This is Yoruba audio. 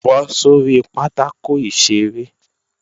Bọ́ sórí pátákò ìṣeré!